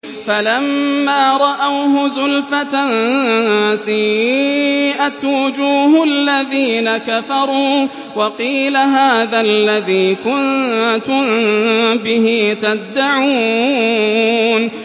فَلَمَّا رَأَوْهُ زُلْفَةً سِيئَتْ وُجُوهُ الَّذِينَ كَفَرُوا وَقِيلَ هَٰذَا الَّذِي كُنتُم بِهِ تَدَّعُونَ